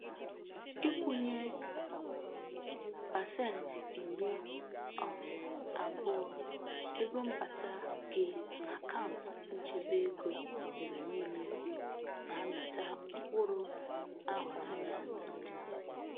Ikwunye pasenti iri um abụọ ego mbata gị n'akaụntu nchebe ego mgbe niile na-amita mkpụrụ ahụrụ anya n'ọdịnihu.